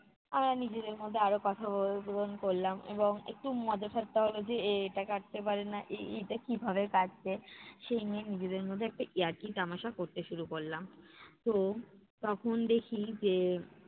আমরা নিজেদের মধ্যে আরো কথা করলাম এবং একটু মজা ঠাট্টাও হলো যে, এ এটা কাটতে পারে না এ এইটা কীভাবে কাটছে। সেই নিয়ে নিজেদের মধ্যে একটা ইয়ার্কি তামাশা করতে শুরু করলাম। তো তখন দেখি যে